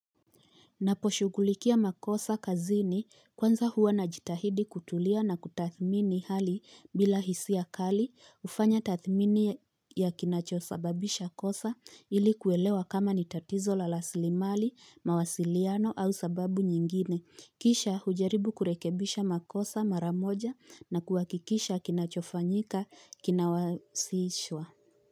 Naposhugulikia makosa kazini kwanza huwa najitahidi kutulia na kutathmini hali bila hisia kali kufanya tathmini ya kinachosababisha kosa ilikuelewa kama ni tatizo la rasilimali, mawasiliano au sababu nyingine. Kisha hujaribu kurekebisha makosa mara moja na kuhakikisha kinachofanyika kinawasishwa.